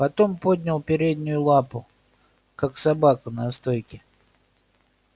потом поднял переднюю лапу как собака на стойке